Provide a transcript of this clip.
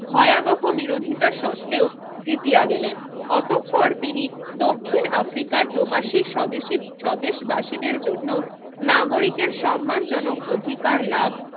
ভয়াবহ বিরোধিতা সত্ত্বেও জিতিয়া গেলেন অতঃপর দক্ষিণ আফ্রিকার প্রবাসী স্বদেশী স্বদেশ বাসীদের জন্য নাগরিকের সম্মান জনক অধিকার লাভ